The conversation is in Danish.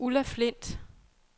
Ulla Flindt